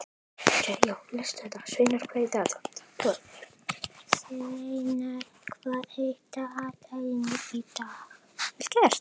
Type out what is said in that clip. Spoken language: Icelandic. Sveinar, hvað er í dagatalinu í dag?